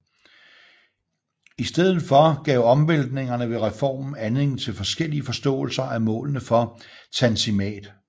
I stedet for gav omvæltningerne ved reformen anledning til forskellige forståelser af målene for Tanzimat